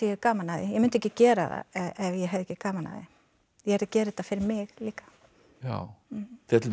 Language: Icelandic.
gaman af því ég mundi ekki gera það ef ég hefði ekki gaman af því ég er að gera þetta fyrir mig líka til dæmis